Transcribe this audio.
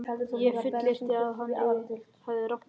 Ég fullyrti, að hann hefði rangt fyrir sér.